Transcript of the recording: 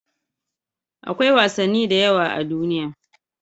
Akwai wasanni da yawa a duniya.